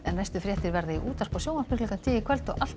næstu fréttir verða í útvarpi og sjónvarpi klukkan tíu í kvöld og alltaf